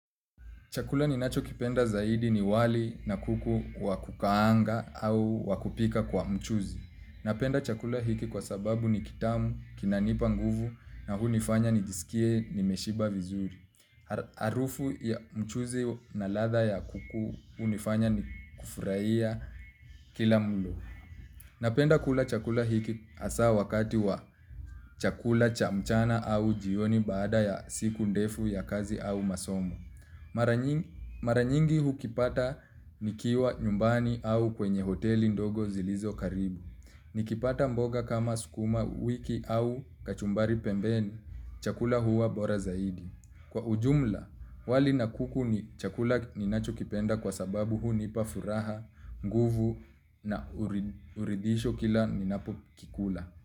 Chakula ni nachokipenda zaidi ni wali na kuku wa kukaanga au wa kupika kwa mchuzi. Napenda chakula hiki kwa sababu ni kitamu, kinanipa nguvu na hunifanya nijisikie nimeshiba vizuri. Harufu ya mchuzi na ladha ya kuku hunifanya ni kufurahiya kila mlo. Napenda kula chakula hiki hasa wakati wa chakula cha mchana au jioni baada ya siku ndefu ya kazi au masomo. Mara nyingi hukipata nikiwa nyumbani au kwenye hoteli ndogo zilizo karibu. Nikipata mboga kama sukuma wiki au kachumbari pembeni, chakula huwa bora zaidi. Kwa ujumla, wali na kuku ni chakula ninachokipenda kwa sababu hunipa furaha, nguvu na uridhisho kila ninapokikula.